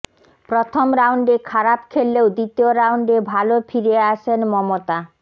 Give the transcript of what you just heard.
প্রথম রাউন্ডে খারাপ খেললেও দ্বিতীয় রাউন্ডে ভালো ফিরে আসেন মমতা